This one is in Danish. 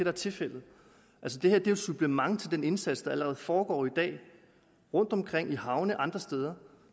er tilfældet det her er jo et supplement til den indsats der allerede foregår i dag rundtomkring i havne og andre steder